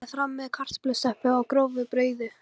Berið fram með kartöflustöppu og grófu brauði.